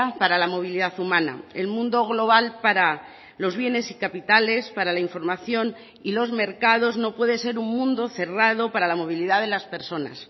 para la movilidad humana el mundo global para los bienes y capitales para la información y los mercados no puede ser un mundo cerrado para la movilidad de las personas